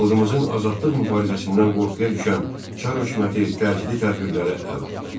Xalqımızın azadlıq mübarizəsindən qorxuya düşən Çar hökuməti təcili tədbirlərə əl atdı.